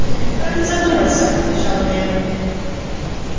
как не задуматься отвечал я ему